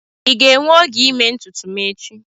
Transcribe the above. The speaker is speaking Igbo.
Ị ga-enwe oge ịme ntutu m echi?